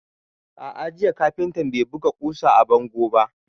A'a, jiya kafintan bai buga ƙusa a bango ba.